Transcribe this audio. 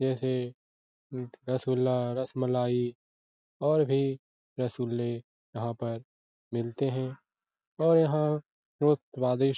जैसे रसगुल्ला रसमलाई और भी रसगुल्ले यहाँ पर मिलते हैं और यहाँ बहुत स्वादिष्ट --